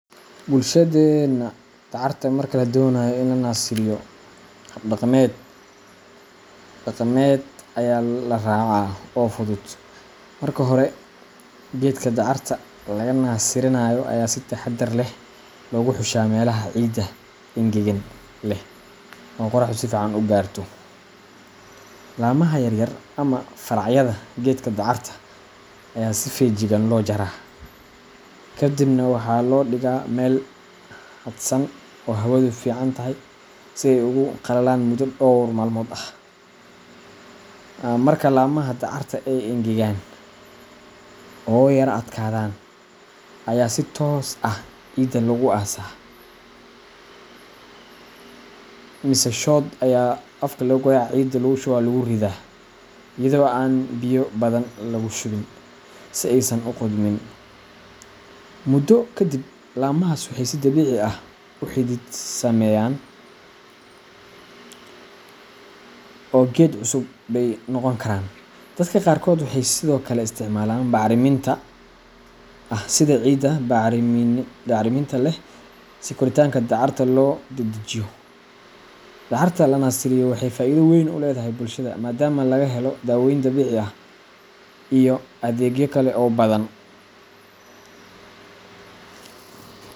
Bulshadeena, dacarta marka la doonayo in la nasiriyo, hab dhaqameed dhaqameed ayaa la raacaa oo fudud. Marka hore, geedka dacarta laga nasirinayo ayaa si taxadar leh loogu xushaa meelaha ciidda engegan leh oo qorraxdu si fiican u gaarto. Laamaha yar yar ama faracyada geedka dacarta ayaa si feejigan loo jaraa, kadibna waxaa loo dhigaa meel hadhsan oo hawadu fiican tahay si ay ugu qalalaan muddo dhowr maalmood ah. Marka laamaha dacarta ay engegaan oo yara adkaadaan, ayaa si toos ah ciidda loogu aasaa mise shod ayaa afka lagagoya cida lugushuba luguridaa iyadoo aan biyo badan lagu shubin, si aysan u qudhmin. Muddo kadib, laamahaas waxay si dabiici ah u xidid sameeyaan oo geed cusub bay noqon karaan. Dadka qaarkood waxay sidoo kale isticmaalaan bacriminta dabiiciga ah sida ciidda bacrinimada leh si koritaanka dacarta loo dedejiyo. Dacarta la nasiriyo waxay faa'iido weyn u leedahay bulshada, maadaama laga helo dawooyin dabiici ah iyo adeegyo kale oo badan.